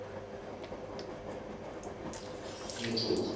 metsotso